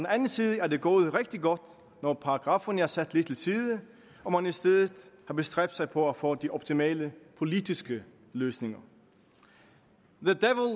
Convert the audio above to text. anden side er det gået rigtig godt når paragrafferne er sat lidt til side og man i stedet har bestræbt sig på at få de optimale politiske løsninger